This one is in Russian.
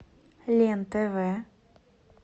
лен тв